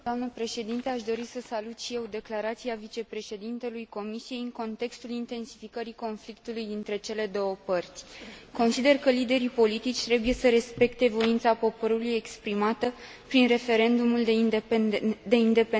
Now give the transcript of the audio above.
Aș dori să salut și eu declarația vicepreședintelui Comisiei în contextul intensificării conflictului dintre cele două părți. Consider că liderii politici trebuie să respecte voința poporului exprimată prin referendumul de independență.